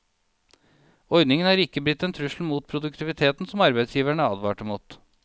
Ordningen har ikke blitt den trussel mot produktiviteten som arbeidsgiverne advarte mot.